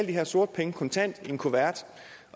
de her sorte penge kontant i en kuvert